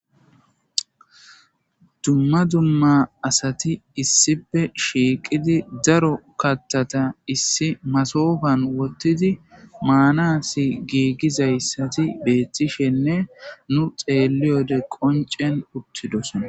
Dumma dumma asati issipe shiiqidi daro kattata issi masofan wottidi maanasi giigizayssati beettishenne nu xeeliyode qoncen uttidos